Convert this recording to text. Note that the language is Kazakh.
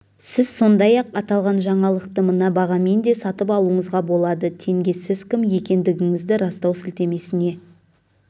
сіз сондай-ақ аталған жаңалықты мына бағамен де сатып алуыңызға болады тенге сіз кім екендігіңізді растау сілтемесіне